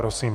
Prosím.